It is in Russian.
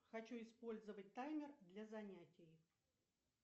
хочу использовать таймер для занятий